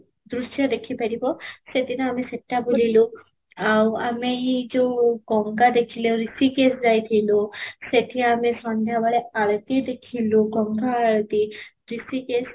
ଦୃଶ୍ୟ ଦେଖି ପାରିବ ସେ ଦିନ ଆମେ ସେଟା ବୁଲିଲୁ, ଆଉ ଆମେ ଏଇ ଯଉ ଗଙ୍ଗା ଦେଖିଲୁ ହୃଷିକେଶ ଯାଇଥିଲୁ, ସେଠି ଆମେ ସନ୍ଧ୍ୟା ବେଳେ ଆଳତି ଦେଖିଲୁ, ଗଙ୍ଗା ଆଳତି ହୃଷିକେଶ